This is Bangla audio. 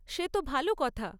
সে তো ভালো কথা।